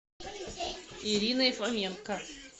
ириной фоменко